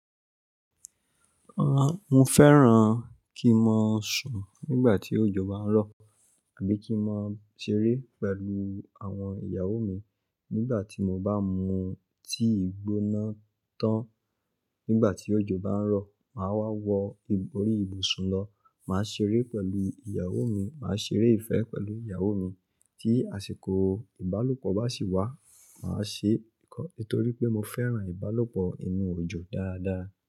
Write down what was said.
Rárá, mo fẹ́ran kí n máa sùn nígbà tí òjò bá ń rọ̀ àbí kí n máa ṣeré pẹ̀lú àwọn ìyàwó mi nígbà tí mo bá mu tíì gbóná tán. Nígbà tí òjò bá ń rọ̀, màá wá wọ orí ìbùsùn lọ, màá ṣeré pẹ̀lú ìyàwó mi, màá ṣeré ìfẹ́ pẹ̀lú ìyàwó mi. Tí àsìkò ìbálòpọ̀ bá sì wá, màá ṣe. Nítorí pé mo fẹ́ran ìbálòpọ̀ inú òjò dáadáa.